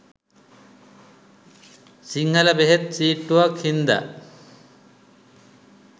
සිංහල බෙහෙත් සීට්ටුවක් හින්ද